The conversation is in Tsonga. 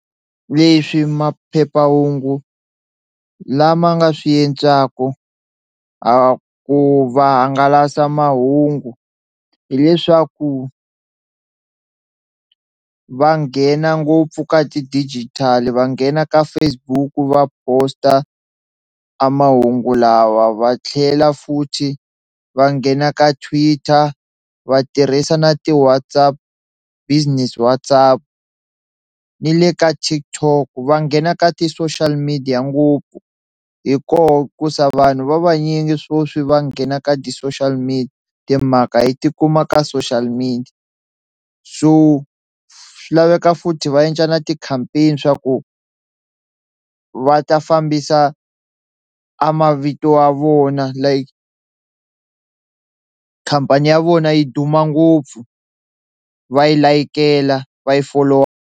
Leswi maphephahungu lama nga swi endlaku a ku va hangalasa mahungu hileswaku va nghena ngopfu ka ti-digital va nghena ka Facebook va post-a a mahungu lawa va tlhela futhi va nghena ka Twitter va tirhisa na ti-WhatsApp business WhatsApp ni le ka TikTok va nghena ka ti-social media ngopfu hi kona ku za vanhu va vanyingi swo swi va nghena ka ti-social media, timhaka hi ti kuma ka social media so swi laveka futhi va endla na ti-campaign swa ku va ta fambisa a mavito a vona like khampani ya vona yi duma ngopfu va yi layikela va yi folowa.